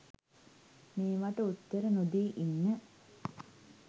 මේවට උත්තර නොදී ඉන්න